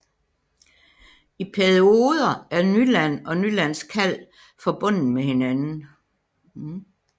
I perioder er Nyland og Nylands Kalv forbundet med hinanden